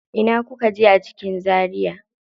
Ina kuka je a cikin Zaria?